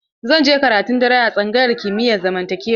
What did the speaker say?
Zan je karatun dare a tsangayar kimiyar zamantakewa.